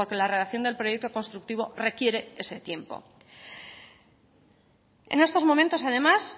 la redacción del proyecto constructivo requiere ese tiempo en estos momentos además